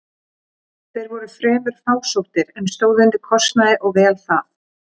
Þeir voru fremur fásóttir, en stóðu undir kostnaði og vel það.